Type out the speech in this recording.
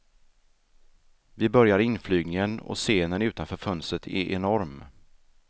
Vi börjar inflygningen och scenen utanför fönstret är enorm.